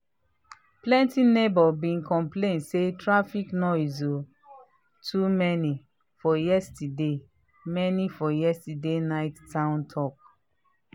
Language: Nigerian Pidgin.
plenty neighbors been complain say traffic noise um too many for yesterday many for yesterday night town talk.